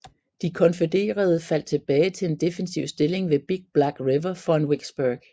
De konfødererede faldt tilbage til en defensiv stilling ved Big Black River foran Vicksburg